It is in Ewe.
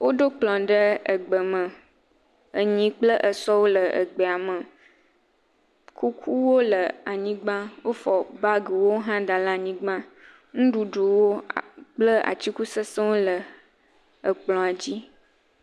Woɖo kplɔ ɖe egbe me, enyi kple esɔwo le egbea me, kukuwo le anyigba, wofɔ bagiwo hã da ɖe anyigba, nuɖuɖuwo kple atikutsetsewo le ekplɔa dzi.